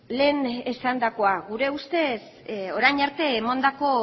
lehen esandakoa gure ustez orain arte emandako